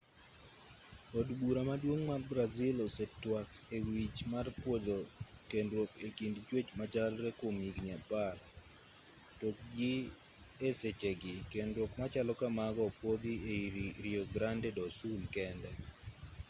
od bura maduong' mar brazil osetwak e wi wach mar pwodho kendruok e kind chwech machalre kwom higni 10 to gi e sechegi kendruok machalo kamago opwodhi ei rio grande do sul kende